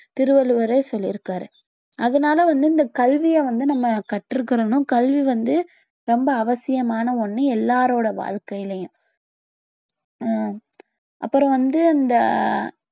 திருவள்ளுவரே சொல்லியிருக்காரு அதனால வந்து இந்த கல்விய வந்து நம்ம கற்றுக்கணும் கல்வி வந்து ரொம்ப அவசியமான ஒண்ணு எல்லாருடைய வாழ்க்கையிலும் ஹம் அப்புறம் வந்து இந்த